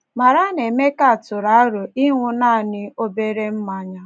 Mara na Emeka tụrụ aro ịṅụ nanị “ obere mmanya. ”